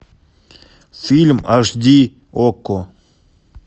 фильм аш ди окко